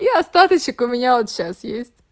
и остаточек у меня вот сейчас есть